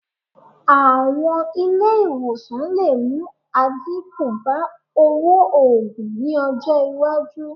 Àwọn ilé ìwòsàn lè mú àdínkù bá owó oogùn ní ọjọ́ iwájú